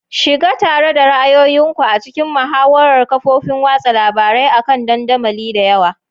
Shiga tare da ra'ayoyin ku a cikin muhawarar kafofin watsa labarai akan dandamali da yawa.